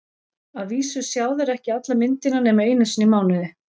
Að vísu sjá þeir ekki alla myndina nema einu sinni í mánuði.